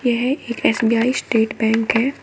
यह एक SBI state bank है।